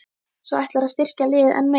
Svo ætlarðu að styrkja liðið enn meira?